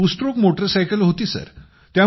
ती two stroke motorcycle होती